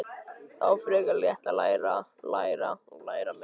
Það var frekar létt: að læra, læra og læra meira.